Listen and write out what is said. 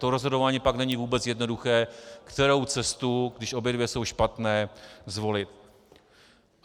To rozhodování pak není vůbec jednoduché, kterou cestu, když obě dvě jsou špatné, zvolit.